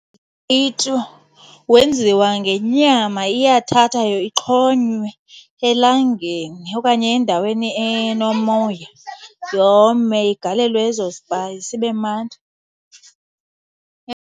wenziwa ngenyama. Iyathathwa ixhonywe elangeni okanye endaweni enomoya yome, igalelwe ezo zipayisi, ibe mnandi.